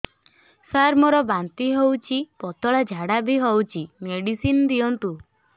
ସାର ମୋର ବାନ୍ତି ହଉଚି ପତଲା ଝାଡା ବି ହଉଚି ମେଡିସିନ ଦିଅନ୍ତୁ